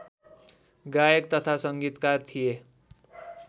गायक तथा संगीतकार थिए